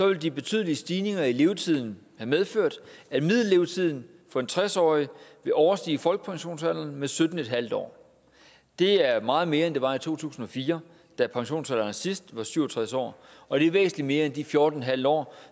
vil de betydelige stigninger i levetiden have medført at middellevetiden for en tres årig vil overstige folkepensionsalderen med sytten en halv år det er meget mere end det var i to tusind og fire da pensionsalderen sidst var syv og tres år og det er væsentlig mere end de fjorten en halv år